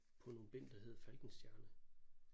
På nogle bind der hed Falkenstjerne